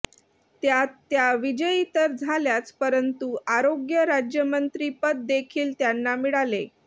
त्यात त्या विजयी तर झाल्याच परंतु आरोग्य राज्यमंत्रिपददेखील त्यांना मिळाले